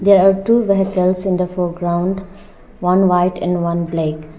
there are two vehicles in the foreground one white and one black.